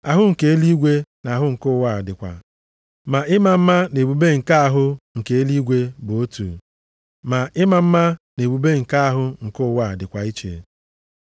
Ahụ nke eluigwe na ahụ nke ụwa dịkwa. Ma ịma mma na ebube nke ahụ nke eluigwe bụ otu, ịma mma na ebube nke ahụ nke ụwa dịkwa iche.